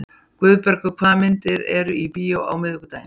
Guðbergur, hvaða myndir eru í bíó á miðvikudaginn?